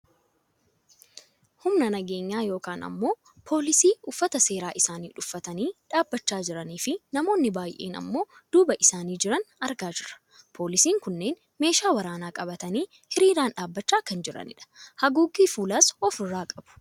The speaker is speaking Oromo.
Humna nageenyaa yookaan ammoo poolisii uffata seeraa isaanii uffatanii dhaabbachaa jiranii fi namoonni baayyeen ammoo duuba isaanii jiran argaa jirra. Poolisoonni kunneen meeshaa waraanaa qabatanii hiriiraan dhaabbachaa kan jiraniidha. Haguuggii fuulaas of irraa qabu.